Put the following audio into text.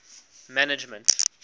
management